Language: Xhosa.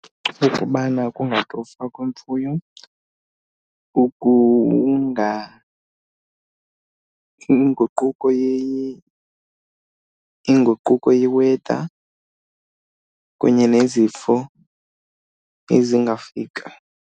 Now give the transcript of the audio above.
Kukubana kungatofwa kwemfuyo, inguquko , inguquko ye-weather kunye nezifo ezingafika.